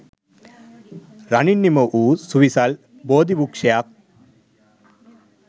රනින් නිමවූ සුවිසල් බෝධි වෘක්ෂයක්